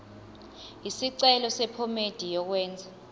isicelo sephomedi yokwenze